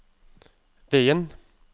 veien